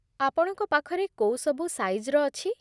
ଆପଣଙ୍କ ପାଖରେ କୋଉ ସବୁ ସାଇଜ୍‌ର ଅଛି?